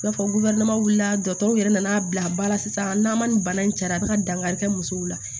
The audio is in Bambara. I n'a fɔ wulila yɛrɛ nan'a bila ba la sisan n'a ma nin bana in cara a be ka dankari kɛ musow la